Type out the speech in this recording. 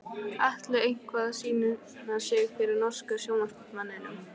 Atli eitthvað að sýna sig fyrir norska sjónvarpsmanninum?